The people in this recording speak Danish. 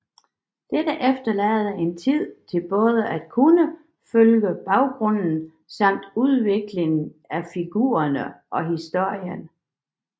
Dette efterlader en tid til både at kunne følge baggrunden samt udviklingen af figurene og historien